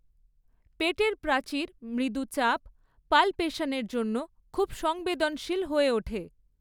পেটের প্রাচীর মৃদু চাপ পালপেশন এর জন্য খুব সংবেদনশীল হয়ে ওঠে।